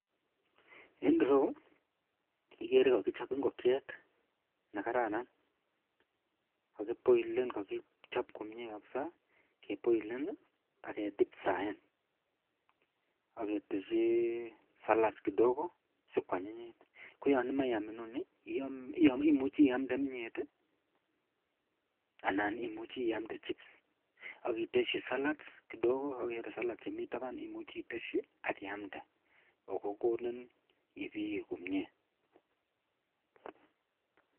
En ireyu igere kakichop ingokiet nekararan nekakiboilen kakichop komie kabisa akedipfraen aketeshi salat kidogo sikwanyinyit koyanimae iyam inoni imuche iyamde kimyet anan imuche iyamde chips akiteshi salts kidogo akiyamde akokonin ibiye komie.